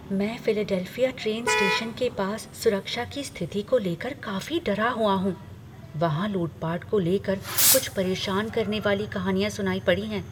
मैं Philadelphia train station के पास सुरक्षा की स्थिति को लेकर काफी डरा हुआ हूँ, वहाँ लूट पाट को ले कर कुछ परेशान करने वाली कहानियाँ सुनाई पड़ी हैं।